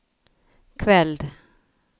kveld